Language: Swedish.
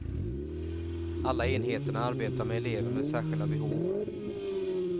Alla enheterna arbetar med elever med särskilda behov.